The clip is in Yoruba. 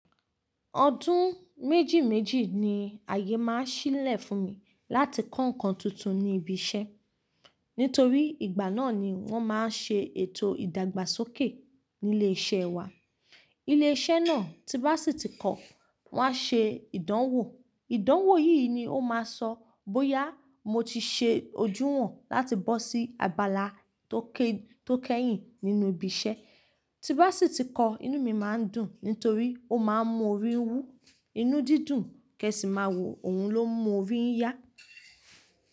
Ọdún méjì méjì ni àyè máa ń ṣí sílẹ̀ fún mi láti kọ́ nkan tuntun ní ibi iṣẹ́ nítorí ìgbàná ni wọ́n máa ń ṣe ètò ìdàgbà sókè ní ilé i iṣẹ́ wa. Ilé iṣẹ́ náà tí bá sì ti kọ, wọ́n á ṣe ìdánwò. Ìdánwò yìí ni ó máa sọ bóyá mo ti ṣe ojú hàn láti bọ́ sí abala tó kẹ́yìn nínú ibi iṣẹ́. Tí bá sì ti kọ, inú mi máa ń dùn nítorí ó máa ń mú orí wú. Inú dídùn kẹ̀ sì má wọ̀ ohun ni ó ń mú n orí yá.